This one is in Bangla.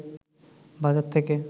বাজার থেকে